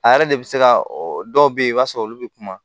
A yɛrɛ de bɛ se ka dɔw be yen i b'a sɔrɔ olu be kuma